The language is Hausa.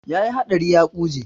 Ya yi haɗari ya ƙuje.